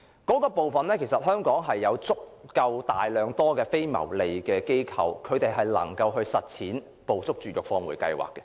在這方面，香港其實有大量非牟利機構能夠實踐"捕捉、絕育、放回"計劃。